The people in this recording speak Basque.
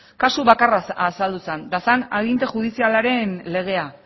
kasu bakarra azaldu zen eta zen aginte judizialaren legea